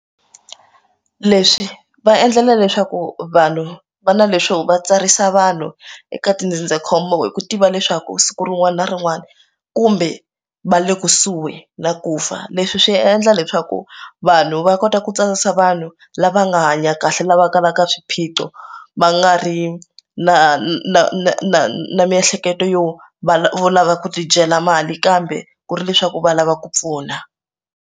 Leswi va endlela leswaku vanhu va na leswo va tsarisa vanhu eka tindzindzakhombo hi ku tiva leswaku siku rin'wana na rin'wana kumbe va le kusuhi na ku fa leswi swi endla leswaku vanhu va kota ku tsarisa vanhu lava nga hanya kahle lava kalaka swiphiqo va nga ri na na na na na miehleketo yo va va lava ku ti dyela mali kambe ku ri leswaku va lava ku pfuna.